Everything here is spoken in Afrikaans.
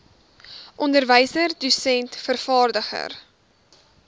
onderwyser dosent vervaardiger